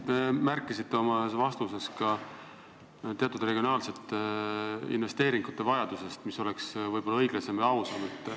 Te märkisite ühes oma vastuses ka teatud regionaalsete investeeringute vajadust, et nii oleks võib-olla õiglasem ja ausam.